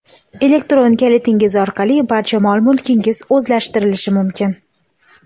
Elektron kalitingiz orqali barcha mol-mulkingiz o‘zlashtirilishi mumkin.